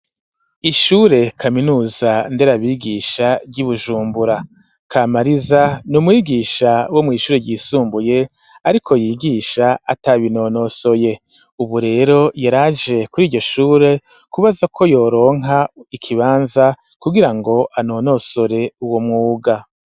Ishure kaminuza nderabigisha ry'ibujumbura kamariza n'umwigisha wo mw'ishure ryisumbuye ariko yigisha atabinonosoye ubu rero yaraje kuri iryo shure kubaza ko yoronka ikibanza kugirango anonosore uwo mwuga.